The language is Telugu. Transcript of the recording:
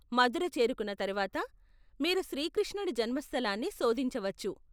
మథుర చేరుకున్న తరువాత, మీరు శ్రీ కృష్ణుడి జన్మస్థలాన్ని శోధించవచ్చు.